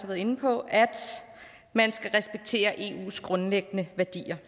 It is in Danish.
været inde på at man skal respektere eus grundlæggende værdier